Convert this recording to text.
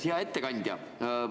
Hea ettekandja!